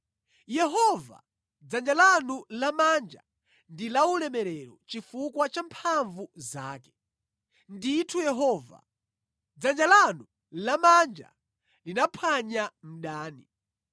Yehova, dzanja lanu lamanja ndi laulemerero chifukwa cha mphamvu zake. Ndithu Yehova, dzanja lanu lamanja linaphwanya mdani.